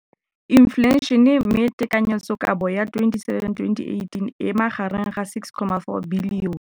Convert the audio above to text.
Infleišene, mme tekanyetsokabo ya 2017, 18, e magareng ga R6.4 bilione.